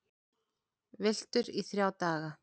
Villtur í þrjá daga